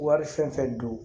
Wari fɛn fɛn don